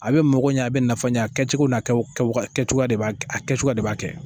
A be mɔgɔ ɲɛ a be nafa yɛ a kɛcogo n'a kɛcogowaga kɛcogoya de kɛcogoya de b'a kɛ